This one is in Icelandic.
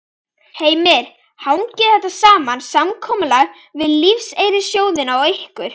Heimir: Hangir þetta saman, samkomulag við lífeyrissjóðina og ykkur?